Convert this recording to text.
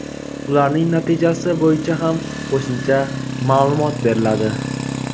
ularning natijasi bo‘yicha ham qo‘shimcha maʼlumot beriladi.